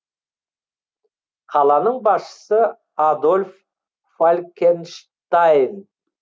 қаланың басшысы адольф фалькенштайн